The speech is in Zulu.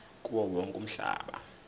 kuwo wonke umhlaba